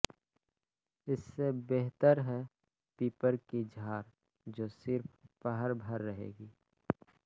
इससे बेहतर है पीपर की झार जो सिर्फ पहर भर रहेगी